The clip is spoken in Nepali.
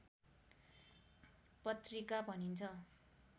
पत्रिका भनिन्छ